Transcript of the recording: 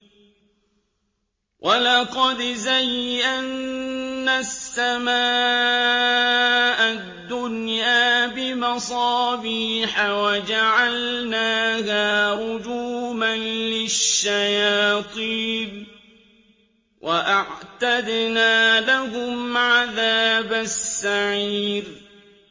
وَلَقَدْ زَيَّنَّا السَّمَاءَ الدُّنْيَا بِمَصَابِيحَ وَجَعَلْنَاهَا رُجُومًا لِّلشَّيَاطِينِ ۖ وَأَعْتَدْنَا لَهُمْ عَذَابَ السَّعِيرِ